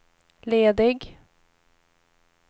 ledig